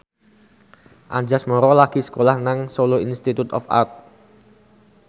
Anjasmara lagi sekolah nang Solo Institute of Art